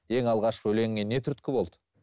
ең алғашқы өлеңіңе не түрткі болды